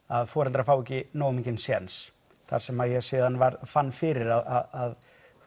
að foreldrar fá ekki nógu mikinn séns þar sem ég síðan fann fyrir að